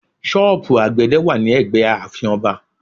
Sọ́ọ̀bù àgbẹ̀dẹ̀ wà ní ẹgbẹ́ ààfin Ọba